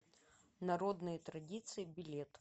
народные традиции билет